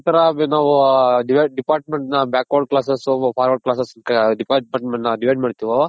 ಯಾವ್ ತರ ನಾವು department ನ back word class forward class department divide ಮಾಡ್ತೀವೋ.